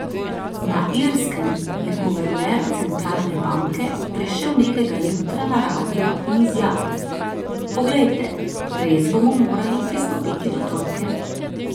Na Irskem je guverner centralne banke prišel nekega jutra na radio in izjavil: 'Poglejte, res bomo morali pristopiti do trojke.